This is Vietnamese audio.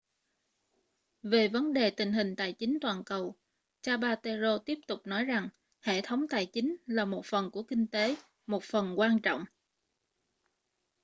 về vấn đề tình hình tài chính toàn cầu zapatero tiếp tục nói rằng hệ thống tài chính là một phần của kinh tế một phần quan trọng